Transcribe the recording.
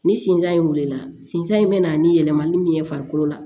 Ni sinzan in wulila sinsin in be na ni yɛlɛmani min ye farikolo la